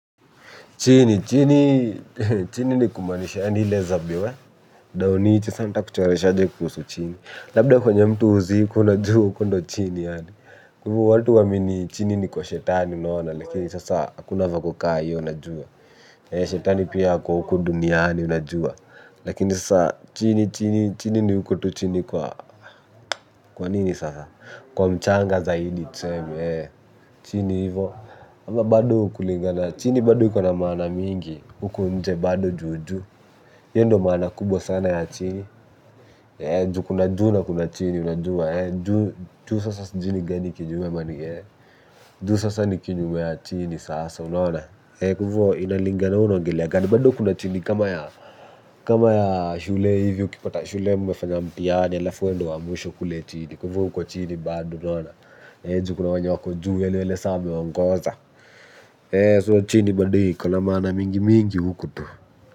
Chini, chini, chini ni kumaanisha, ile za biwe, dao ni iti santa kuchoreshaje kusu chini. Labda kwenye mtu huzikwa, unajua huko ndo chini yaani. Juu watu huamini chini ni kwa shetani unaona, lakini sasa akuna vako ka hiyo unajua. Shetani pia ako huku duniani unajua. Lakini sasa chini, chini, chini ni huku tu chini kwa, kwa nini sasa? Kwa mchanga zaidi, tuseme, chini hivo. Hiyo ndo maana kubwa sana ya chini. Ju kuna juu na kuna chini. Unajuwa. Juu sasa ni kinyume ya chini sasa unaona. Kwa hivo inalingana wee unaongelea kama ya kama ya shule hivyo ukipata shule mmefanya mtihani. Halafu wee ndo wa mwisho kule chini. Hivo uko chini bado. Ju kuna wanye wako juu yaani wale saa wameongoza. So chini bado iko na maana mingi mingi huku tu.